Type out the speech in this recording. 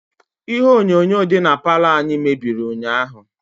ihe onyonyo dị na palọ anyi mebiri ụnyahụ